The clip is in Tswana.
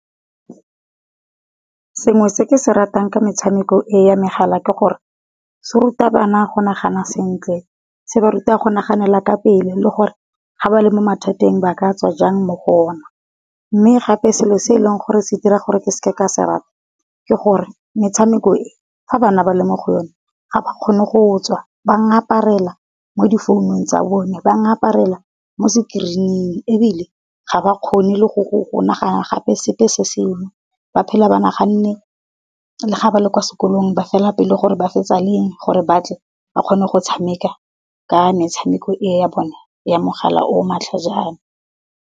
Sengwe se ke se ratang ka metshameko ya megala ke gore se ruta bana go nagana sentle, se ba ruta go naganela ka pele le gore ga ba le mo mathateng ba ka tswa jang mo go ona. Mme gape selo se e leng gore se dira gore ke seke ka se rata, ke gore metshameko e fa bana ba le mo go yone. Ga ba kgone go tswa ba ngaparela mo di founung tsa bone, ba ngaparela mo sekerining ebile ga ba kgone le go nagana gape sepe se sengwe. Ba phela ba naganne le ga ba le kwa sekolong ba fela pelo gore ba fetsa leng gore batle ba kgone go tshameka ka metshameko ya bone ya mogala o matlhajana.